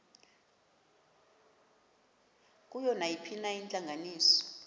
kuyo nayiphina intlanganiso